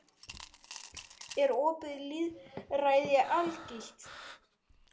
Er opið lýðræði algilt?